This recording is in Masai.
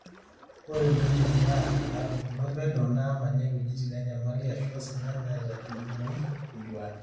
ore ntoyie kuna naatubulutua peno naamanya iwuejitin enyamali aashu osina netaa inkumoi intuaan